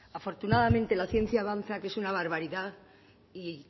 afortunadamente la ciencia avanza que es una barbaridad y